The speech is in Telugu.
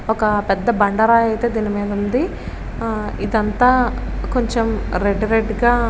ఒక పెద్ధ బండరాయి అయితే దీని మీద ఉంది ఇదంతా కొంచెం రెడ్ రెడ్ గా --